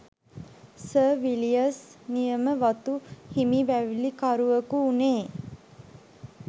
Sir Villiers නියම වතු හිමි වැවිලිකරුවකු වුනේ.